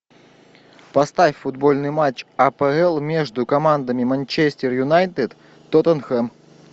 поставь футбольный матч апл между командами манчестер юнайтед тоттенхэм